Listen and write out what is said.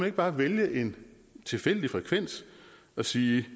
ikke bare vælge en tilfældig frekvens og sige